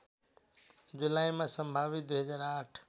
जुलाईमा सम्भावित २००८